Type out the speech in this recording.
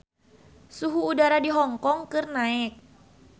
Suhu udara di Hong Kong keur naek